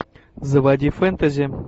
заводи фэнтези